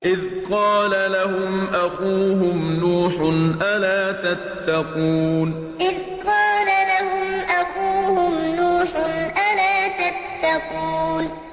إِذْ قَالَ لَهُمْ أَخُوهُمْ نُوحٌ أَلَا تَتَّقُونَ إِذْ قَالَ لَهُمْ أَخُوهُمْ نُوحٌ أَلَا تَتَّقُونَ